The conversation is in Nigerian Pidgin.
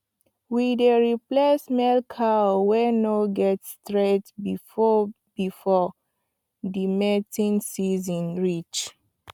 we dey replace male cow wey no get strenght before before the mating seeson reach